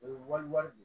O ye wali wari de ye